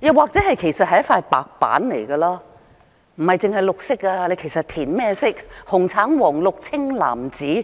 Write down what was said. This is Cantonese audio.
又或者其實是一塊白板，不單只是綠色，填甚麼顏色也可以，紅、橙、黃、綠、青、藍、紫，只